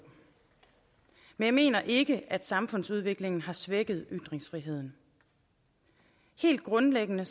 men jeg mener ikke at samfundsudviklingen har svækket ytringsfriheden helt grundlæggende